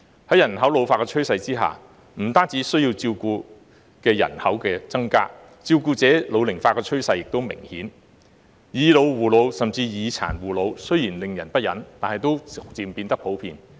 在人口老化的趨勢下，不但需要照顧的人口增加，照顧者老齡化的趨勢也明顯，"以老護老"甚至"以殘護老"雖然令人不忍，但也漸漸變得普遍。